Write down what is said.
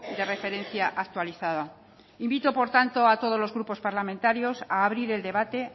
de referencia actualizada invito por tanto a todos los grupos parlamentarios a abrir el debate